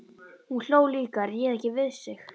Hún hló líka, réð ekki við sig.